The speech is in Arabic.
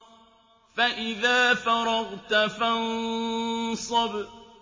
فَإِذَا فَرَغْتَ فَانصَبْ